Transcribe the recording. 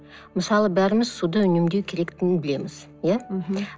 мысалы бәріміз суды үнемдеу керектігін білеміз иә мхм